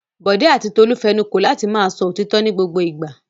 Bọ̀dé àti Tolú fẹnu kò láti máa sọ òtítọ́ ní gbogbo ìgbà.